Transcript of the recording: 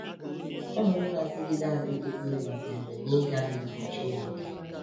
Anụrị na-adịgide adịgide dabere n’ịga n’iwu Chineke.